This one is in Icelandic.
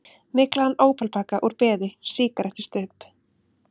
Myglaðan ópalpakka úr beði, sígarettustubb.